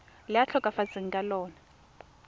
le a tlhokafetseng ka lona